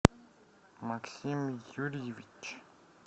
максим юрьевич